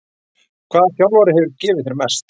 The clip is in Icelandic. Hvaða þjálfari hefur gefið þér mest?